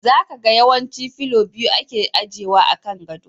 Za ka ga yawanci fillo biyu ake ajewa a kan gado.